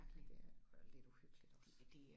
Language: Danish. Ja det er det og lidt uhyggeligt også